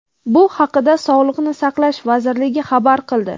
Bu haqida Sog‘liqni saqlash vazirligi xabar qildi.